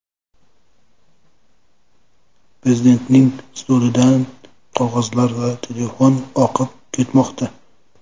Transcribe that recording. Prezidentning stolidan qog‘ozlar va telefon oqib ketmoqda.